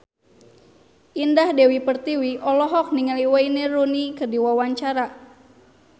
Indah Dewi Pertiwi olohok ningali Wayne Rooney keur diwawancara